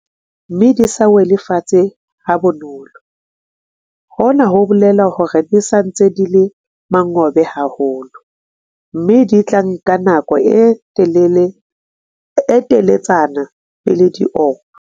Haeba dipoone di le thata, mme di sa wele fatshe ha bonolo, hona ho bolela hore di sa ntse di le mongobo haholo, mme di tla nka nako e teletsana pele di oma.